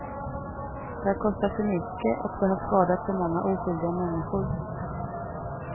Det har kostat för mycket och det har skadat för många oskyldiga människor.